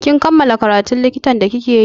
Kin kammala karatun likitan da like yi?